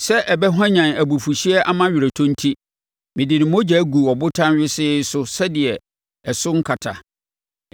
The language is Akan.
Sɛ ɛbɛhwanyan abufuhyeɛ ama aweretɔ enti mede ne mogya guu ɔbotan wesee so sɛdeɛ ɛso renkata.